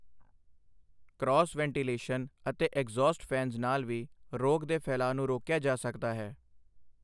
Cross ventilation ਅਤੇ exhaust fans ਨਾਲ ਵੀ ਰੋਗ ਦੇ ਫੈਲਾਅ ਨੂੰ ਰੋਕਿਆ ਜਾ ਸਕਦਾ ਹੈ।